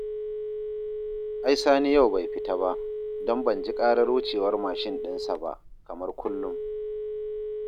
Ai Sani yau bai fita ba, don ban ji ƙarar wucewar mashin ɗinsa ba, kamar kullum